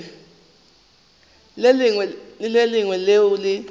le le lengwe leo le